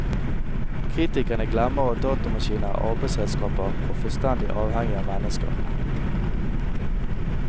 Kritikerne glemmer at datamaskiner er arbeidsredskaper og fullstendig avhengige av mennesker.